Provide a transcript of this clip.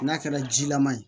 N'a kɛra jilaman ye